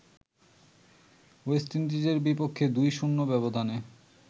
West ইন্ডিজের বিপক্ষে ২-০ ব্যবধানে